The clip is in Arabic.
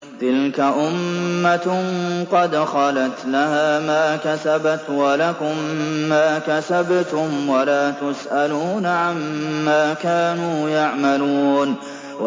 تِلْكَ أُمَّةٌ قَدْ خَلَتْ ۖ لَهَا مَا كَسَبَتْ وَلَكُم مَّا كَسَبْتُمْ ۖ وَلَا تُسْأَلُونَ عَمَّا كَانُوا يَعْمَلُونَ